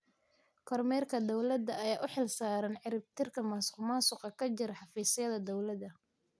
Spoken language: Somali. Kormeerka dawladda ayaa u xilsaaran ciribtirka musuqmaasuqa ka jira xafiisyada dawladda.